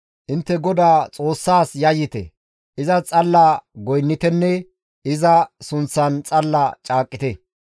Intte GODA Xoossaas yayyite; izas xalla goynnitenne iza sunththan xalla caaqqite.